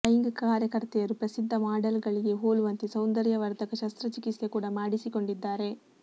ಲೈಂಗಿಕ ಕಾರ್ಯಕರ್ತೆಯರು ಪ್ರಸಿದ್ಧ ಮಾಡೆಲ್ ಗಳಿಗೆ ಹೋಲುವಂತೆ ಸೌಂದರ್ಯವರ್ಧಕ ಶಸ್ತ್ರಚಿಕಿತ್ಸೆ ಕೂಡ ಮಾಡಿಸಿಕೊಂಡಿದ್ದಾರೆ